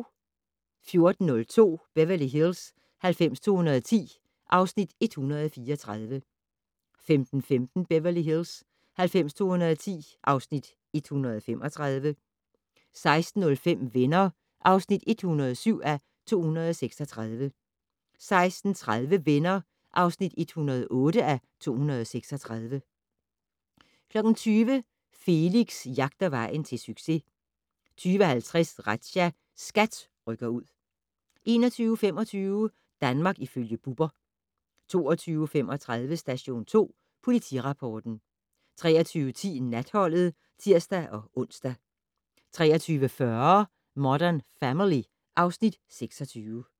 14:02: Beverly Hills 90210 (Afs. 134) 15:15: Beverly Hills 90210 (Afs. 135) 16:05: Venner (107:236) 16:30: Venner (108:236) 20:00: Felix jagter vejen til succes 20:50: Razzia - SKAT rykker ud 21:25: Danmark ifølge Bubber 22:35: Station 2 Politirapporten 23:10: Natholdet (tir-ons) 23:40: Modern Family (Afs. 26)